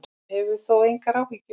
Hann hefur þó engar áhyggjur.